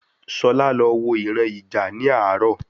Sola lọ wọ ìran ija ni àárò